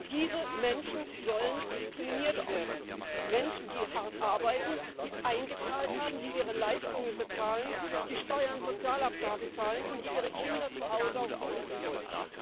Diese Menschen sollen diskriminiert werden Menschen, die hart arbeiten, die eingezahlt haben, die ihre Leistungen bezahlen, die Steuern und Sozialabgaben zahlen, und die ihre Kinder zu Hause auch besuchen wollen.